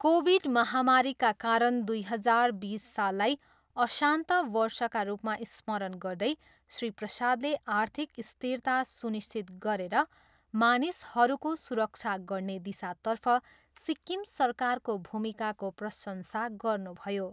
Covid महामारीका कारण दुई हजार बिस साललाई अशान्त वर्षका रूपमा स्मरण गर्दै श्री प्रसादले आर्थिक स्थिरता सुनिश्चित गरेर मानिसहरूको सुरक्षा गर्ने दिशातर्फ सिक्किम सरकारको भूमिकाको प्रशंसा गर्नुभयो।